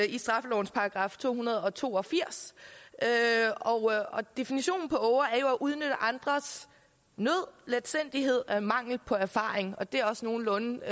i straffelovens § to hundrede og to og firs definitionen på åger er at udnytte andres nød letsindighed og mangel på erfaring og det er også nogenlunde